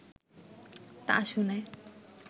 তা শুনে